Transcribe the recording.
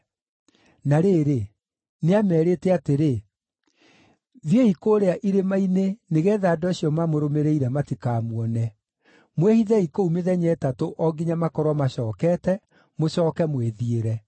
Na rĩrĩ, nĩameerĩte atĩrĩ, “Thiĩi kũrĩa irĩma-inĩ nĩgeetha andũ acio mamũrũmĩrĩire matikamuone. Mwĩhithei kũu mĩthenya ĩtatũ o nginya makorwo macookete, mũcooke mwĩthiĩre.”